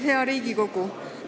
Hea Riigikogu!